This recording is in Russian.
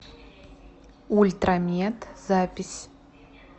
ультрамед запись